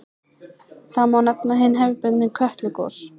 Þá má nefna hin hefðbundnu Kötlugos.